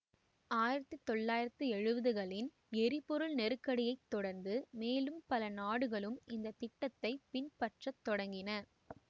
ஆயிரத்தி தொள்ளாயிரத்தி எழுவதுகளின் எரிபொருள் நெருக்கடியை தொடர்ந்து மேலும் பல நாடுகளும் இந்த திட்டத்தை பின்பற்ற தொடங்கின